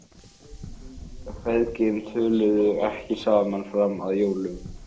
Feðginin töluðu ekki saman fram að jólum.